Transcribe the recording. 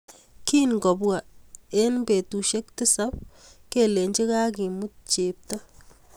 Kiyebwa eng betushe tisab kelenji kakemut chepto.